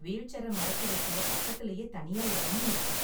Wheel சேர மடக்கி வைக்க பக்கத்துலயே தனியா எடமும் இருக்கும்.